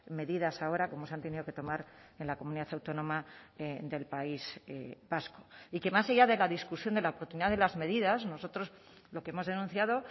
medidas ahora como se han tenido que tomar en la comunidad autónoma del país vasco y que más allá de la discusión de la oportunidad de las medidas nosotros lo que hemos denunciado